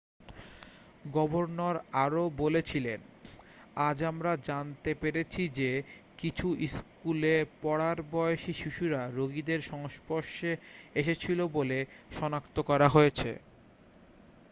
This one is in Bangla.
"""গভর্নর আরও বলেছিলেন """আজ আমরা জানতে পেরেছি যে কিছু স্কুলেপড়ার বয়সি শিশুরা রোগীদের সংস্পর্শে এসেছিল বলে সনাক্ত করা হয়েছে।""""""